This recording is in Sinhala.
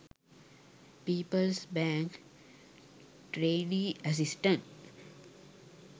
peoples bank trainee assistant